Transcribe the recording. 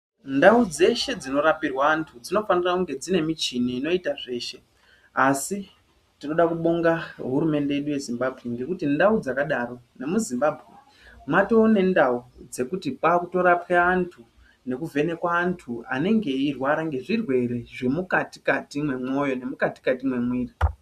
Ndau dzeshe dzino rapirwa antu dzino fanira kunge dzine muchini ino ita zveshe asi tinoda kubonga hurumende yedu ye Zimbabwe ngekuti ndau dzaka daro nemu Zimbabwe matone ndau dzekuti kwakuto rapwe antu neku vhenekwa antu anenge eyi rwara nge zvirwere zvemu kati kati mwe moyo ne mukati kati me mwiri.